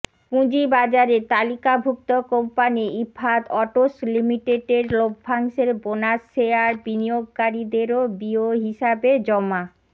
পুঁজিবাজারে তালিকাভুক্ত company Ifad autos লিমিটেডের লভ্যাংশের বোনাস শেয়ার বিনিয়োগকারীদের বিও হিসাবে জমা